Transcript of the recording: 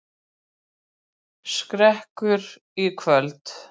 Skrekkur í kvöld